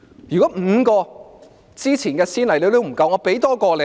如果5宗先例都不夠，我再多舉1宗。